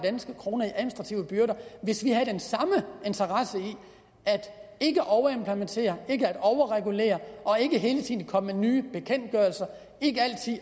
kroner i administrative byrder hvis vi havde den samme interesse i ikke at overimplementere ikke at overregulere og ikke hele tiden at komme med nye bekendtgørelser